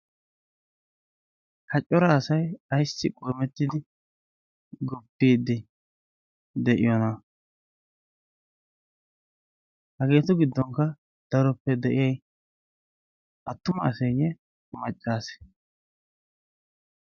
ha cora asai aissi qormettidi guppiiddi de7iyoonaa? hageetu giddonkka daroppe de7iya attuma aseeyye maccaase?